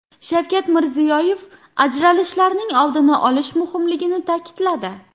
Shavkat Mirziyoyev ajralishlarning oldini olish muhimligini ta’kidladi.